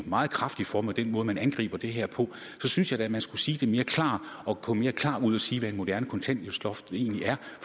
meget kraftigt for med den måde man angriber det her på så synes jeg da at man skulle sige det mere klart og gå mere klart ud og sige hvad et moderne kontanthjælpsloft egentlig er